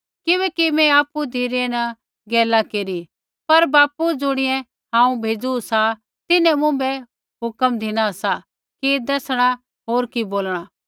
किबैकि मैं आपु धिरै न गैला नैंई केरी पर बापू ज़ुणियै हांऊँ भेज़ू सा तिन्हैं मुँभै हुक्म धिना सा कि कि दैसणा होर कि बोलणा